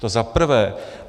To za prvé.